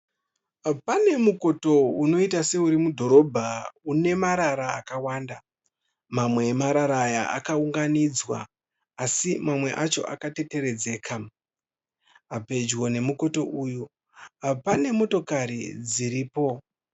Pane mukoto unoita seuri mudhorobha une marara akawanda. Mamwe amarara aya akaunganidzwa asi mamwe emarara aya akateteredzeka. Pedyo nemukoto uyu pane motokari dziripo.